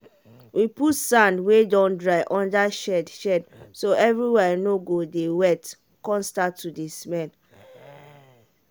we put sand wey don dry under shed shed so everywhere no go dey wet come start to dey smell